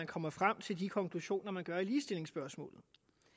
kommer frem til de konklusioner med ligestillingsspørgsmålet